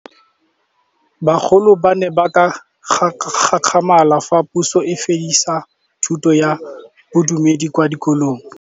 Bagolo ba ne ba gakgamala fa Pusô e fedisa thutô ya Bodumedi kwa dikolong.